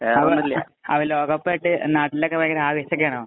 നാട്ടിലൊക്കെ ഭയങ്കര ആവേശം ഒക്കെ ആണോ?